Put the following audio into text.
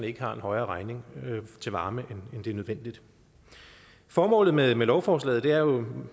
ikke har en højere regning til varme end det er nødvendigt formålet med med lovforslaget er jo